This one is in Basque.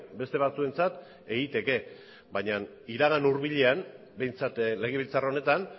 beste batzuentzat egiteke baina iragan hurbilean behintzat legebiltzar honetan